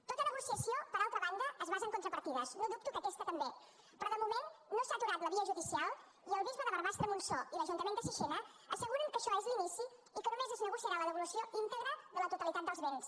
tota negociació per altra banda es basa en contrapartides no dubto que aquesta també però de moment no s’ha aturat la via judicial i el bisbe de barbastre montsó i l’ajuntament de sixena asseguren que això és l’inici i que només es negociarà la devolució íntegra de la totalitat dels béns